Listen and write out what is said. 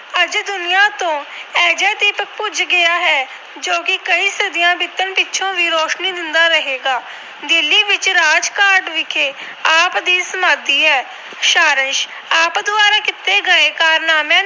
ਬੁਝ ਗਿਆ ਹੈ ਜੋ ਕਿ ਕਈ ਸਦੀਆਂ ਬੀਤਣ ਪਿੱਛੋਂ ਵੀ ਰੋਸ਼ਨੀ ਦਿੰਦਾ ਰਹੇਗਾ। ਦਿੱਲੀ ਵਿਖੇ ਰਾਜਘਾਟ ਵਿਖੇ ਆਪ ਦੀ ਸਮਾਧੀ ਹੈ। ਸਾਰਾਸ਼ - ਆਪ ਦੁਆਰਾ ਕੀਤੇ ਗਏ ਕਾਰਨਾਮਿਆਂ ਨੂੰ